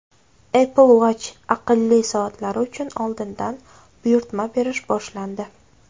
Apple Watch aqlli soatlari uchun oldindan buyurtma berish boshlandi.